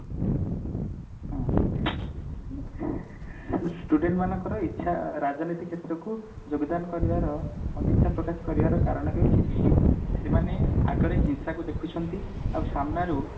ହୁଁ student ମାନଙ୍କର ଇଛା ରାଜନୀତି କ୍ଷେତ୍ରକୁ ଯୋଗଦାନ କରିବାର ଅନିଚ୍ଛା ପ୍ରକାଶ କରିବାର କାରଣ ହଉଛି ସେମାନେ ଆଗରେ ହିଂସା କୁ ଦେଖୁଛନ୍ତି ଆଉ ସାମ୍ନା ରୁ